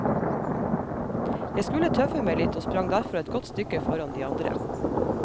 Jeg skulle tøffe meg litt og sprang derfor et godt stykke foran de andre.